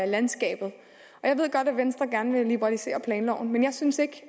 landskabet jeg ved godt at venstre gerne vil liberalisere planloven men jeg synes ikke